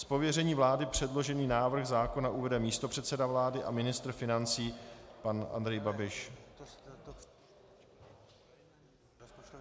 Z pověření vlády předložený návrh zákona uvede místopředseda vlády a ministr financí pan Andrej Babiš.